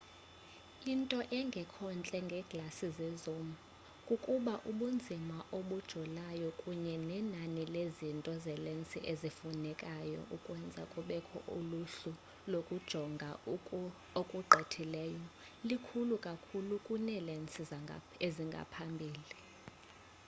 into engekhontle ngeeglasi zezoom kukuba ubunzima obujolayo kunye nenani lezinto zelensi ezifunekayo ukwenza kubekho uluhlu lokujonga okulugqithileyo likhulu kakhulu kuneelensi eziphambili